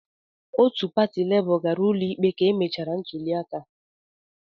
Otu pati Labour gara ụlọikpe ka emechara ntuliaka.